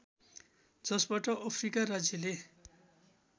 जसबाट अफ्रिका राज्यले